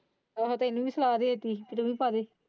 ਆਹੋ ਸਾਰੇ।